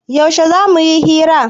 Yaushe za mu yi hira?